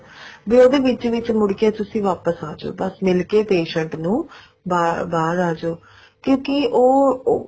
ਉਹਦੇ ਵਿੱਚ ਵਿੱਚ ਮੁੜ ਕੇ ਤੁਸੀਂ ਵਾਪਿਸ ਆਜੋ ਬਸ ਮਿਲ ਕੇ patient ਨੂੰ ਬਾਰ ਬਾਹਰ ਆਜੋ ਕਿਉਂਕਿ ਉਹ